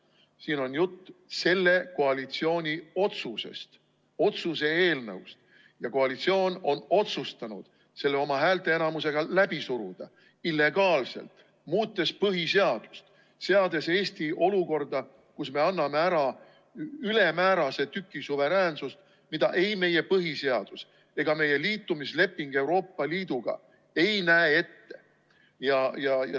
Siin on jutt selle koalitsiooni otsusest, otsuse eelnõust, ja koalitsioon on otsustanud selle oma häälteenamusega illegaalselt läbi suruda, muutes põhiseadust, seades Eesti olukorda, kus me anname ära ülemäärase tüki oma suveräänsusest, mida meie põhiseadus ega meie Euroopa Liiduga liitumise leping ette ei näe.